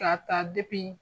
K'a ta depi